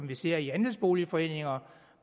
vi ser i andelsboligforeninger